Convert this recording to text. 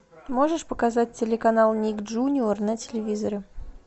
можешь показать телеканал ник джуниор на телевизоре